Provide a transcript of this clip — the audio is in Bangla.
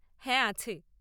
হ্যাঁ, আছে।